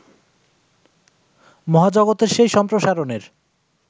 মহাজগতের সেই সম্প্রসারণের